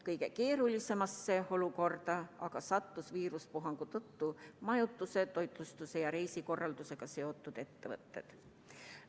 Kõige keerulisemasse olukorda aga sattusid viirusepuhangu tõttu majutuse, toitlustuse ja reisikorraldusega seotud ettevõtted.